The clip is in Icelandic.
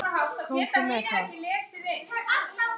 Komdu með það!